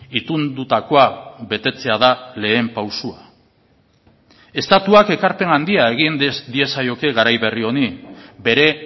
itundutakoa betetzea da lehen pausua estatuak ekarpen handia egin diezaioke garai berri honi bere